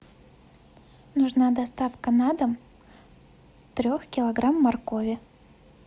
нужна доставка на дом трех килограмм моркови